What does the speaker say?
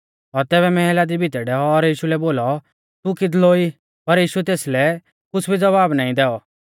और तैबै मैहला दी भितै डैऔ और यीशु लै बोलौ तू किदलौ ई पर यीशुऐ तेसलै कुछ़ भी ज़वाब नाईं दैऔ